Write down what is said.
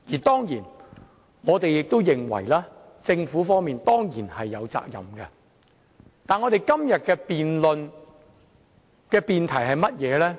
當然，我們亦認為政府是有責任的，但今天的辯論主題是甚麼呢？